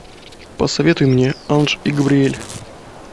посоветуй мне анж и габриэль